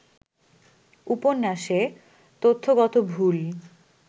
উপন্যাসে তথ্যগত ভুল